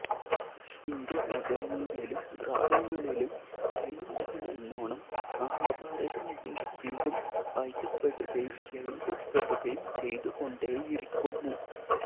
Indian നഗരങ്ങളിലും ഗ്രാമങ്ങളിലും ദൈനം ദിനമെന്നോണം മഹാഭാരതം വീണ്ടും വീണ്ടും വായിക്കപ്പെടുകയും എഴുതപ്പെടുകയും ചെയ്തുകൊണ്ടേയിരിക്കുന്നു